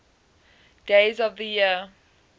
days of the year